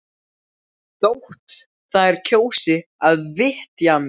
Þótt þær kjósi að vitja mín.